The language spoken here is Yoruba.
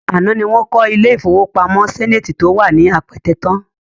Àná ni wọ́n kọ́ ilé-ìfowópamọ́ Zenith tó wà ní Apẹtẹ tán